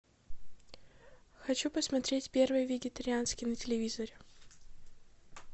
хочу посмотреть первый вегетарианский на телевизоре